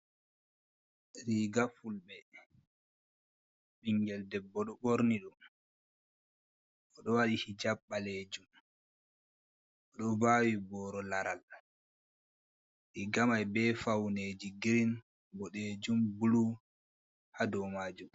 Riga fulɓe, bingel debbo ɗo ɓorni ɗum. O ɗo waɗi hijab ɓaleejum. O ɗo vaawi boro laral. Riga mai be fauneji girin, boɗeejum, bulu ha dou maajum.